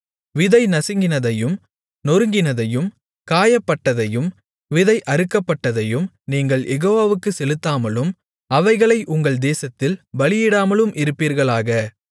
விதை நசுங்கினதையும் நொறுங்கினதையும் காயப்பட்டதையும் விதை அறுக்கப்பட்டதையும் நீங்கள் யெகோவாவுக்குச் செலுத்தாமலும் அவைகளை உங்கள் தேசத்தில் பலியிடாமலும் இருப்பீர்களாக